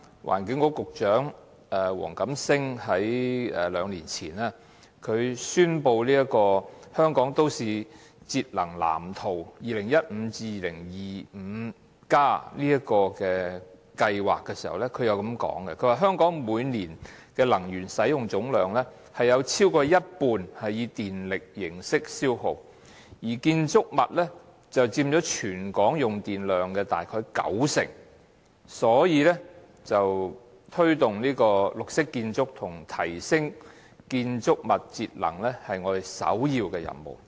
環境局局長黃錦星在兩年前宣布《香港都市節能藍圖 2015-2025+》計劃時表示："香港每年的能源使用總量，有超過一半以電力形式消耗，而建築物佔全港用電量約九成，推動綠色建築及提升建築物節能是我們首要的任務。